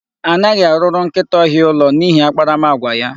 Anaghị arụrụ nkịta ọhịa ụlọ n'ihi akparamagwa ya.